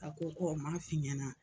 A ko ko n ma fi ɲɛna